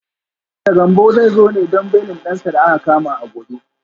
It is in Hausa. Mista Gambo zai zo ne don belin dansa da aka kama a gobe